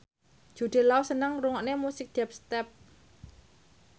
Jude Law seneng ngrungokne musik dubstep